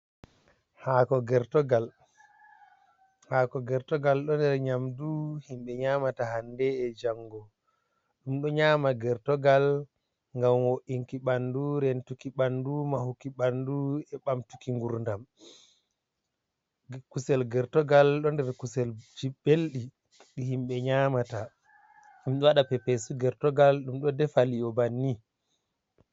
Hako gertogal ɗo nder nyamdu himɓe nyamata hande e jango ɗum ɗo nyama gertogal ngam wo’inki bandu rentuki bandu mahuki bandu e bamtuki ngurndam kusel gertogal ɗo nder kusel ji beldi ɗum ɗo wada pepesu gertogal ɗum ɗo ɗefali’o banni.